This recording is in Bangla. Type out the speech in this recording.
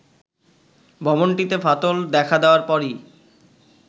ভবনটিতে ফাটল দেখা দেয়ার পরই